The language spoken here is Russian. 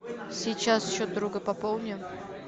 сейчас счет друга пополни